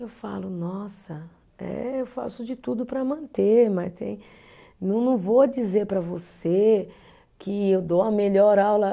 Eu falo, nossa, eh eu faço de tudo para manter, mas tem, não vou dizer para você que eu dou a melhor aula.